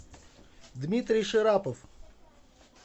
дмитрий шарапов